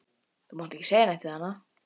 Þú mátt ekki segja neitt við hana.